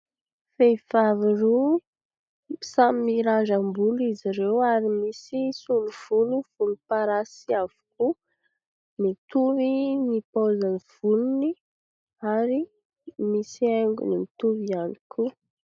Vevivavy roa samy mirandram-bolo izy ireo ary misy solo-volo volomparasy avokoa, mitovy ny paozin'ny volony ary misy haingony mitovy ihany koa.